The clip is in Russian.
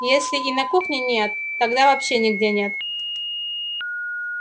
если и на кухне нет тогда вообще нигде нет